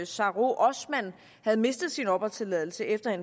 sahro osman havde mistet sin opholdstilladelse efter at